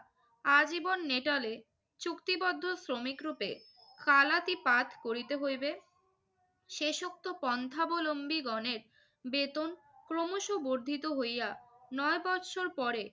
আজীবন নেটালে চুক্তিবদ্ধ শ্রমিকরূপে কালাতিপাত করিতে হইবে। শেষোক্ত পন্থাবলম্বীগণের বেতন ক্রমশ বর্ধিত হইয়া নয় বৎসর পরে